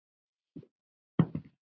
Saga sem hefur ekki elst.